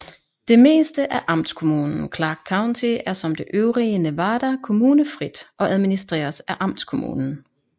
Det meste af amtskommunen Clark County er som det øvrige Nevada kommunefrit og administreres af amtskommunen